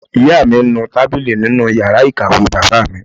Ìyá mi ń nu tábìlì nínú yàrá ìkàwé bàbá mi